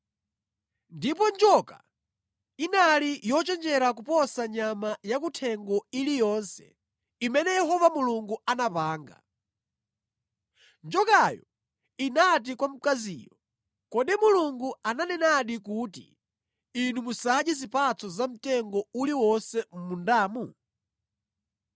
Ndipo njoka inali yochenjera kuposa nyama yakuthengo iliyonse imene Yehova Mulungu anapanga. Njokayo inati kwa mkaziyo, “Kodi Mulungu ananenadi kuti, ‘Inu musadye zipatso za mtengo uliwonse mʼmundamu?’ ”